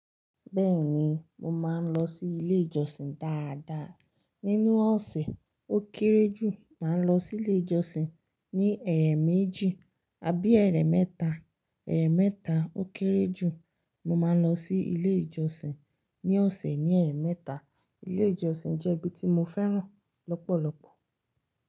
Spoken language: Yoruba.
Bẹ́ẹ̀ni, mo máa ń lọ sí ilé ìjọsìn dáadáa. Nínú ọ̀sẹ̀, ó kéré jù, màá lọ sí ilé ìjọsìn ní ẹ̀rẹ̀ méjì, a bí ẹ̀rẹ̀ mẹ́ta. Ẹ̀ẹ̀ mẹ́ta ó kéré jù, mo máa ń lọ sí ilé ìjọsìn ní ọ̀sẹ̀ ní ẹ̀rẹ̀ mẹ́ta. Ilé ìjọsìn jẹ́ ibi tí mo fẹ́ràn lọ́pọ̀lọpọ̀.